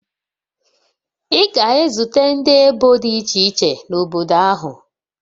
Ị ga-ezute ndị ebo dị iche iche n'obodo ahụ